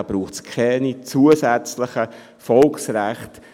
Dazu braucht es keine zusätzlichen Volksrechte.